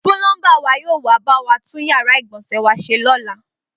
Púlọ́ḿbà wa yóò wá bá wa tún yàrá ìgbọ̀nsẹ̀ wa ṣe lọ́la